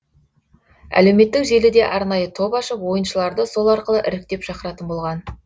әлеуметтік желіде арнайы топ ашып ойыншыларды сол арқылы іріктеп шақыратын болған